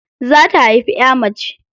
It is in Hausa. Za ta haifi ƴa mace.